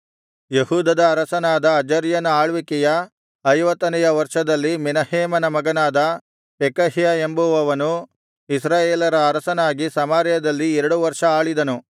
ಯೆಹೂದದ ಅರಸನಾದ ಅಜರ್ಯನ ಆಳ್ವಿಕೆಯ ಐವತ್ತನೆಯ ವರ್ಷದಲ್ಲಿ ಮೆನಹೇಮನ ಮಗನಾದ ಪೆಕಹ್ಯ ಎಂಬುವವನು ಇಸ್ರಾಯೇಲರ ಅರಸನಾಗಿ ಸಮಾರ್ಯದಲ್ಲಿ ಎರಡು ವರ್ಷ ಆಳಿದನು